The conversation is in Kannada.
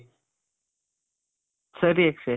ಸರಿ ಅಕ್ಷಯ್.